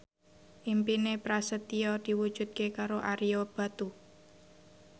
impine Prasetyo diwujudke karo Ario Batu